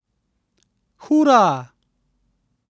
Hura!